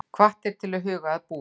Hvattir til að huga að búfé